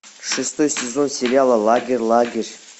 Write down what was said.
шестой сезон сериала лагерь лагерь